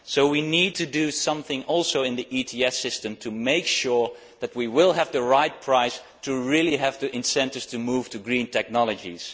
So we also need to do something in the ETS system to make sure we have the right price and really have the incentives to move to green technologies.